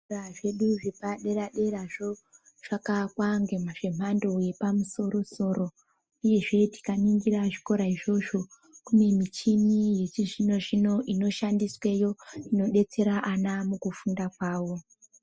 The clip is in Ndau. Zvikora zvedu zvepadera dera zvakavakwa zvemhando yepamusorosoro uyezve tikaningira zvikora izvozvo kune michini yechizvino zvino inoshandisweyo inobetsere vana kufunda kwavo .